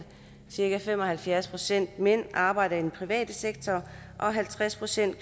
cirka fem og halvfjerds procent af mændene arbejder i den private sektor og halvtreds procent af